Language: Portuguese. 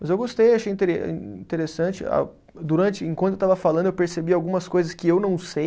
Mas eu gostei, achei intere âh, interessante, ah durante, enquanto eu estava falando eu percebi algumas coisas que eu não sei,